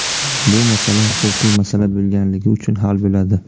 Bu masala huquqiy masala bo‘lganligi uchun hal bo‘ladi.